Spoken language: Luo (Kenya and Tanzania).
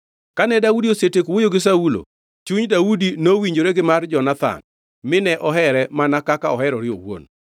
Kane Daudi osetieko wuoyo gi Saulo, chuny Daudi nowinjore gi mar Jonathan gi Daudi mine ohere mana kaka oherore owuon.